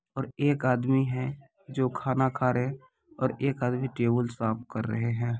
और एक आदमी है जो खाना खा रहे और एक आदमी टेबुल साफ कर रहे है।